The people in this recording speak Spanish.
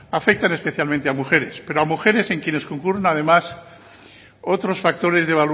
afectan especialmente a mujeres pero a mujeres en quienes concurren además otros factores de